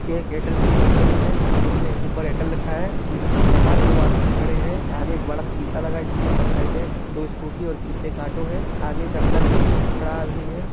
यह एक एयरटेल कपनी है इसमे ऊपर एयरटेल लिखा हुआ है बाहर दो आदमी खड़े है आगे एक बड़ा सा सीसा लगा है जिसकी परछाई में दो स्कूटी पीछे एक ऑटो है आगे एक अंदर भी खड़ा आदमी है।